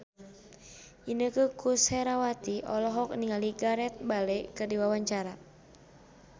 Inneke Koesherawati olohok ningali Gareth Bale keur diwawancara